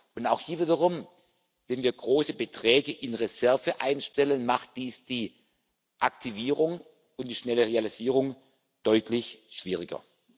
Union sein. Und auch hier wiederum Wenn wir große Beträge in Reserve einstellen, macht dies die Aktivierung und die schnelle Realisierung deutlich schwieriger.